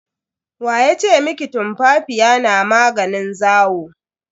Wa ya ce miki tumfafiya na maganin zawo?